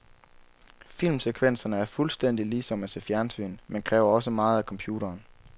Filmsekvenserne er fuldstændig ligesom at se fjernsyn, men kræver også meget af computeren.